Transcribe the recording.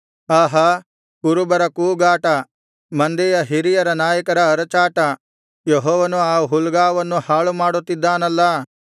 ಆಹಾ ಕುರುಬರ ಕೂಗಾಟ ಮಂದೆಯ ಹಿರಿಯ ನಾಯಕರ ಅರಚಾಟ ಯೆಹೋವನು ಆ ಹುಲ್ಗಾವಲನ್ನು ಹಾಳುಮಾಡುತ್ತಿದ್ದಾನಲ್ಲಾ